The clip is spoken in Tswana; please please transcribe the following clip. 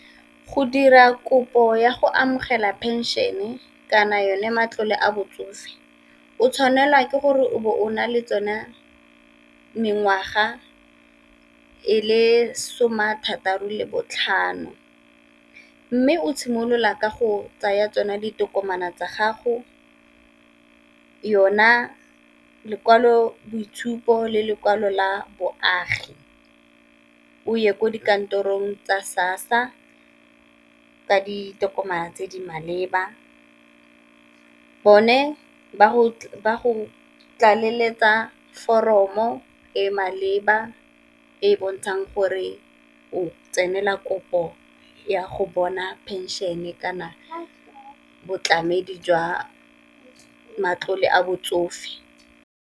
Go dira kopo ya go amogela pension-e kana yone matlole a botsofe, o tshwanelwa ke gore o bo o na le tsona mengwaga e le some a thataro le botlhano. Mme o simolola ka go tsaya tsona ditokomane tsa gago, yona lekwalo boitshupo le lekwalo la boagi o ye ko dikantorong tsa SASSA ka ditokomane tse di maleba. Bone ba go tlaleletsa foromo e maleba e bontshang gore o tsenela kopo ya go bona pension-e kana boitlamedi jwa matlole a botsofe.